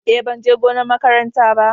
Eh ban je gonar makaranta ba.